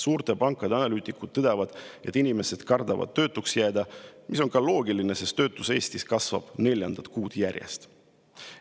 Suurte pankade analüütikud tõdevad, et inimesed kardavad töötuks jääda, mis on ka loogiline, sest töötus Eestis kasvab neljandat kuud järjest.